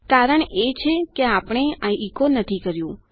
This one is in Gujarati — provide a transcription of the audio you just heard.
કારણ એ છે કે આપણે આ ઇકો નથી કર્યું